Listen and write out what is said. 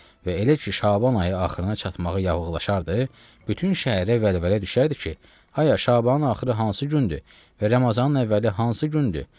Və elə ki Şaban ayı axırına çatmağı yaxınlaşardı, bütün şəhərə vəlvələ düşərdi ki, haya Şabanın axırı hansı gündür və Ramazanın əvvəli hansı gündür.